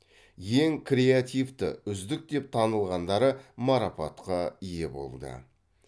ең креативті үздік деп танылғандары марапатқа ие болды